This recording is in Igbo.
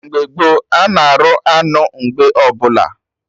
Mgbe gboo, anụ arụ anụ mgbe ọbụla